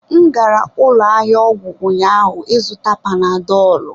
M gara ụlọ ahịa ọgwụ ụnyaahụ ịzụta panadọlụ.